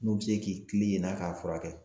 N'u bɛ se k'i kilen yen n'a k'a furakɛ.